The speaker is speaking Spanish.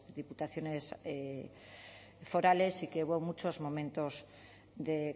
diputaciones forales y que hubo muchos momentos de